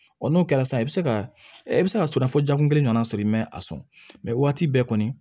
n'o kɛra sisan i bɛ se ka i bɛ se ka sɔrɔ jakun kelen nana sɔrɔ i ma a sɔn mɛ waati bɛɛ kɔni